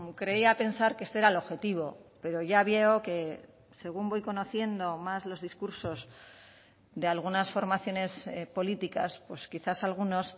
creía pensar que este era el objetivo pero ya veo que según voy conociendo más los discursos de algunas formaciones políticas pues quizás algunos